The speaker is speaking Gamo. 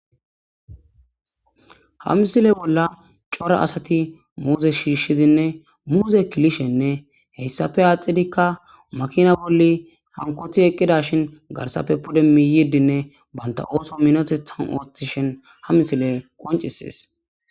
Ha misile bolla cora asati muuze shiiqidinne muuze kilishenne hessappe adhdhidikka makina bolli hankoti eqqidashin garssappe pude miyyidinne banta ooso minoteththan ooththishin ha misiley qonccises.